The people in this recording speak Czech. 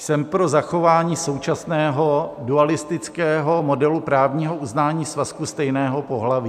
Jsem pro zachování současného dualistického modelu právního uznání svazku stejného pohlaví.